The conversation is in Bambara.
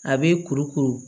A bɛ kuru kuru